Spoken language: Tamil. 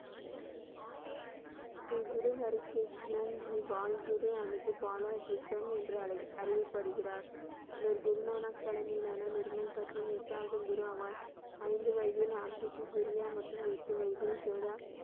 ஸ்ரீ குரு ஹரி கிருஷ்ணா ஜி பால் குரு அல்லது, பாலா கிருஷ்ணம் என்று அலைக் அறியப்படுகிறார், இவர் குரு நானக் தலைமையிலான நிர்மல் பட்டின் எட்டாவது குரு ஆவார். ஐந்து வயதில் ஆம்பிடியு கொரியா மற்றும் எட்டு வயதில் ஜோதா